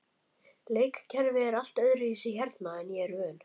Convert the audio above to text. Leikkerfi er allt öðruvísi hérna en ég er vön.